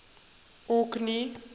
orkney